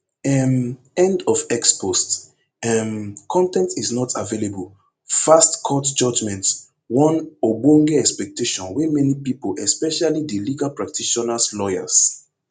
um end of x post um con ten t is not available fast court judgement one ogbonge expectation wey many pipo especially di legal practitioners lawyers